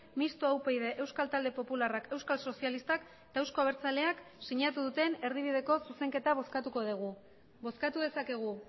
mistoa upyd euskal talde popularrak euskal sozialistak eta eusko abertzaleak sinatu duten erdibideko zuzenketa bozkatuko dugu bozkatu dezakegu